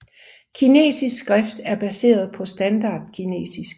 Kinesisk skrift er baseret på standard kinesisk